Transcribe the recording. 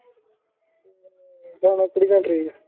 ਜਾਣਾ ਕਿਹੜੀ ਕੰਟਰੀ ਆ